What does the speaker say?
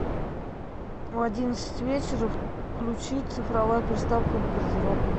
в одиннадцать вечера включить цифровая приставка в гардеробной